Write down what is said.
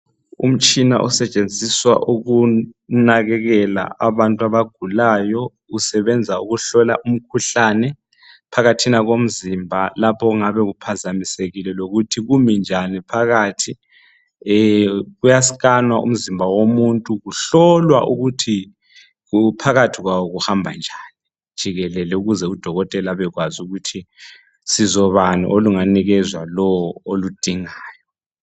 Umtshina osetshenziswa ukunakekela abantu abagulayo usebenza ukuhlola umkhuhlane phakathina komzimba lapho okungabe kuphazamisekile lokuthi kumi njani phakathi eeh kuyaskanwa umzimba womuntu kuhlolwa ukuthi phakathi kwawo kuhamba njani jikelele ukuze udokotela abekwazi ukuthi sizo bani olunganikezwa lowo oludingayo.